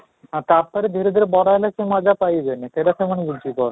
ଆଉ ତାପରେ ଧୀରେ ଧୀରେ ବଡ ହେଲେ ସେ ମଜା ପାଇବେନି ସେଇଟା ସେମାନେ ବୁଝିପାରୁ